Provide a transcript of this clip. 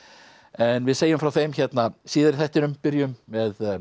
en við segjum frá þeim hérna síðar í þættinum byrjum með